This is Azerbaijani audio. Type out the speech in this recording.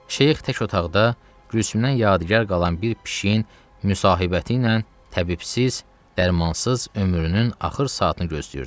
Şeyx tək otaqda, Gülsümdən yadigar qalan bir pişiyin müsahibəti ilə təbibsiz, dərmansız ömrünün axır saatını gözləyirdi.